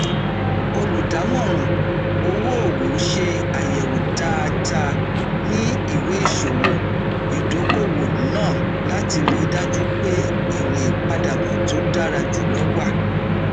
olùdámọràn owóòwò ṣe àyẹwò dáadáa ní ìwéìṣòwò ìdókòowó náà láti ríi dájú pé èrè ìpadàbọ tó dára jùlọ wà